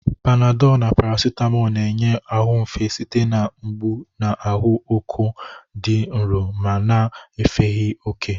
Panadolu na parasitamoolu na-enye ahụ efe site na mgbu na ahụ ọkụ dị nro ma na-agafeghị oke.